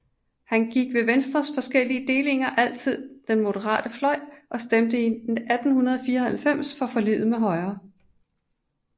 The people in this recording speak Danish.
Han gik ved Venstres forskellige delinger altid til den moderate fløj og stemte 1894 for forliget med Højre